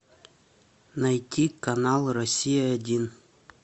найти канал россия один